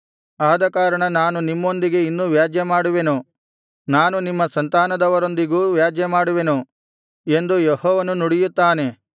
ಆದಕಾರಣ ನಾನು ನಿಮ್ಮೊಂದಿಗೆ ಇನ್ನೂ ವ್ಯಾಜ್ಯ ಮಾಡುವೆನು ನಾನು ನಿಮ್ಮ ಸಂತಾನದವರೊಂದಿಗೂ ವ್ಯಾಜ್ಯ ಮಾಡುವೆನು ಎಂದು ಯೆಹೋವನು ನುಡಿಯುತ್ತಾನೆ